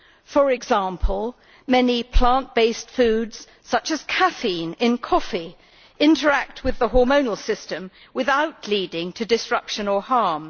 For example, many plant based foods such as caffeine in coffee interact with the hormonal system without leading to disruption or harm.